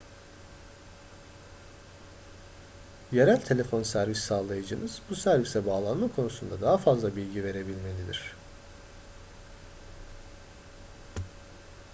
yerel telefon servis sağlayıcınız bu servise bağlanma konusunda daha fazla bilgi verebilmelidir